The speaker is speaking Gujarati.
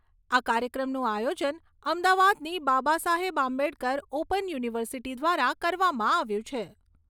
આ કાર્યક્રમનું આયોજન અમદાવાદની બાબાસાહેબ આંબેડકર ઓપન યુનિવર્સિટી દ્વારા કરવામાં આવ્યું છે.